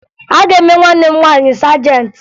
A ga-eme nwanne m nwaanyị sajentị